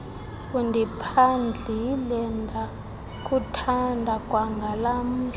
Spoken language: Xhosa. undiphandlile ndakuthanda kwangalamhla